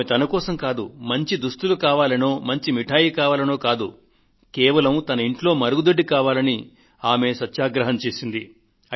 ఆమె తన కోసం మంచి దుస్తులు కావాలనో మిఠాయి కావాలనో కాకుండా కేవలం తన ఇంట్లో మరుగుదొడ్డి కావాలని ఉపవాసదీక్ష చేసింది